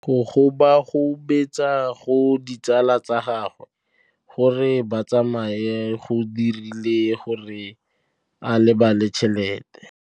Go gobagobetsa ga ditsala tsa gagwe, gore ba tsamaye go dirile gore a lebale tšhelete.